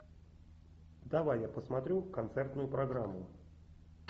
давай я посмотрю концертную программу